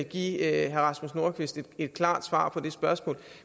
give herre rasmus nordqvist et klart svar på det spørgsmål